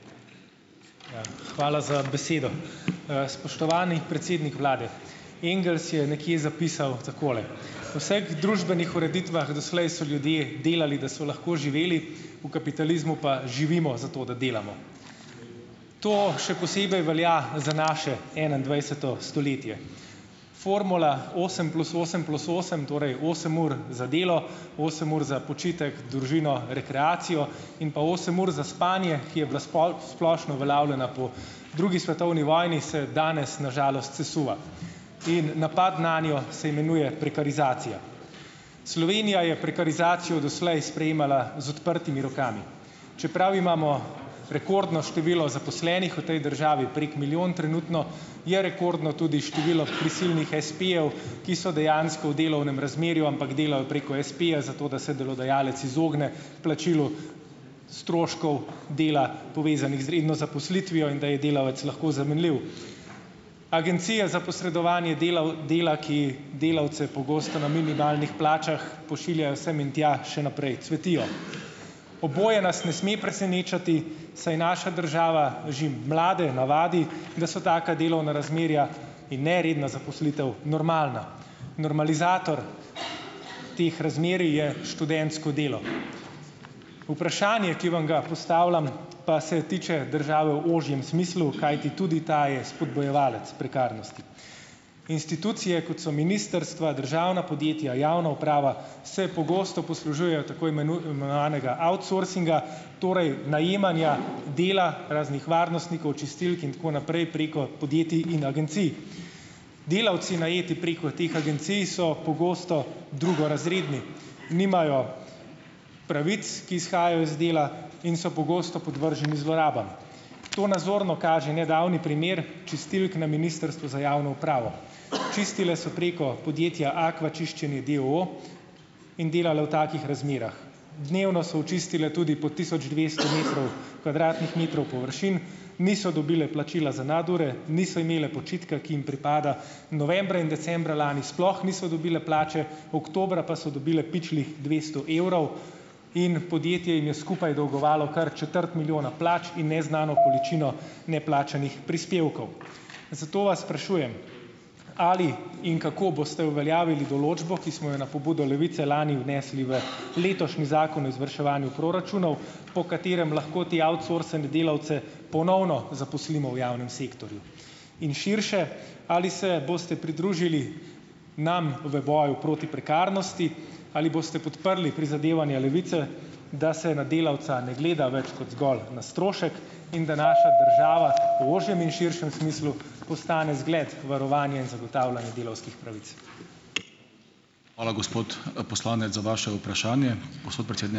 Ja, hvala za besedo. Spoštovani predsednik vlade. Engels je nekje zapisal takole: "V vseh družbenih ureditvah doslej so ljudje delali, da so lahko živeli. V kapitalizmu pa živimo zato, da delamo." To še posebej velja za naše enaindvajseto stoletje. Formula osem plus osem plus osem, torej osem ur za delo osem ur za počitek, družino, rekreacijo in pa osem ur za spanje, ki je bila splošno uveljavljena po drugi svetovni vojni, se danes, na žalost, sesuva. In napad nanjo se imenuje prekarizacija. Slovenija je prekarizacijo doslej sprejemala z odprtimi rokami. Čeprav imamo rekordno število zaposlenih v tej državi, prek milijon trenutno, je rekordno tudi število prisilnih espejev, ki so dejansko v delovnem razmerju, ampak delajo preko espeja zato, da se delodajalec izogne plačilu stroškov dela, povezanih z redno zaposlitvijo, in da je delavec lahko zamenljiv. Agencije za posredovanje delal dela, ki delavce pogosto na minimalnih plačah pošiljajo sem in tja, še naprej cvetijo. Oboje nas ne sme presenečati, saj naša država že mlade navadi, da so taka delovna razmerja in neredna zaposlitev normalni. Normalizator teh razmerij je študentsko delo. Vprašanje, ki vam ga postavljam, pa se tiče države v ožjem smislu, kajti tudi ta je spodbujevalec prekarnosti. Institucije, kot so ministrstva, državna podjetja, javna uprava, se pogosto poslužujejo tako imenovanega outsourcinga, torej najemanja dela raznih varnostnikov, čistilk in tako naprej, preko podjetij in agencij. Delavci, najeti preko teh agencij, so pogosto drugorazredni. Nimajo pravic, ki izhajajo iz dela, in so pogosto podvrženi zlorabam. To nazorno kaže nedavni primer čistilk na ministrstvu za javno upravo. Čistile so preko podjetja Aqua Čiščenje, d. o. o., in delale v takih razmerah. Dnevno so očistile tudi po tisoč dvesto metrov, kvadratnih metrov površin, niso dobile plačila za nadure, niso imele počitka, ki jim pripada. Novembra in decembra lani sploh niso dobile plače, oktobra pa so dobile pičlih dvesto evrov in podjetje jim je skupaj dolgovalo kar četrt milijona plač in neznano količino neplačanih prispevkov. Zato vas sprašujem: Ali in kako boste uveljavili določbo, ki smo jo na pobudo Levice lani vnesli v letošnji Zakon o izvrševanju proračunov, po katerem lahko te outsourcane delavce ponovno zaposlimo v javnem sektorju? In širše: ali se boste pridružili nam v boju proti prekarnosti, ali boste podprli prizadevanja Levice, da se na delavca ne gleda več kot zgolj na strošek in da naša država v ožjem in širšem smislu postane zgled varovanja in zagotavljanja delavskih pravic?